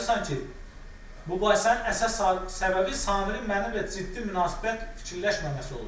Bu yazırsan ki, mübahisənin əsas səbəbi Samirin mənimlə ciddi münasibət fikirləşməməsi olubdur.